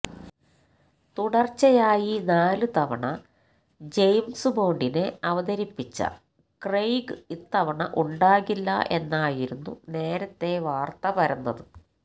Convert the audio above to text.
തുടർച്ചയായി നാലു തവണ ജെയിംസ് ബോണ്ടിനെ അവതരിപ്പിച്ച ക്രെയ്ഗ് ഇത്തവണ ഉണ്ടാകില്ല എന്നായിരുന്നു നേരത്തെ വാർത്ത പരന്നത്